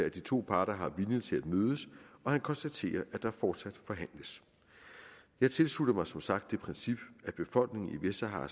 at de to parter har viljen til at mødes og han konstaterer at der fortsat forhandles jeg tilslutter mig som sagt det princip at befolkningen i vestsahara